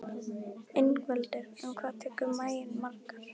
Ingveldur: En hvað tekur maginn margar?